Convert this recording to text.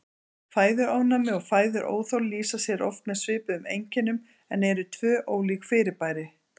Fæðuofnæmi og fæðuóþol lýsa sér oft með svipuðum einkennum en eru tvö ólík fyrirbæri.